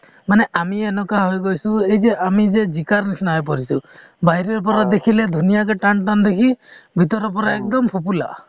মানে আমি এনেকুৱা হৈ গৈছো এই যে আমি যে জিকাৰ নিছিনা হৈ পৰিছো, বাহিৰৰ পৰা দেখিলে ধুনীয়া যে টান টান দেখি ভিতৰৰ পৰা একদম ফোঁপোলা |